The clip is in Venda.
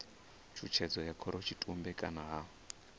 tshutshedzo ya khorotshitumbe kana ha